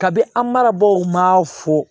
Kabini an marabaw ma fo